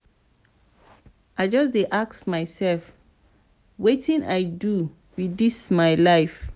i just dey ask mysef wetin i dey do wit dis my life.